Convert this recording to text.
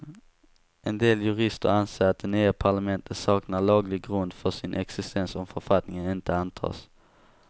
En del jurister anser att det nya parlamentet saknar laglig grund för sin existens om författningen inte antas.